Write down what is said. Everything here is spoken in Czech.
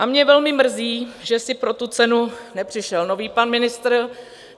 A mě velmi mrzí, že si pro tu cenu nepřišel nový pan ministr.